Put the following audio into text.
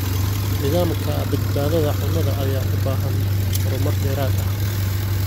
Nidaamka badbaadada cunnada ayaa u baahan horumar dheeraad ah.